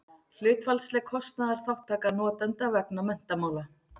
hlutfallsleg kostnaðarþátttaka notenda vegna menntamála